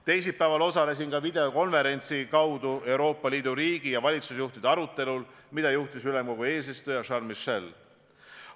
Teisipäeval osalesin videokonverentsi formaadis Euroopa Liidu riigi- ja valitsusjuhtide arutelul, mida juhtis ülemkogu eesistuja Charles Michel.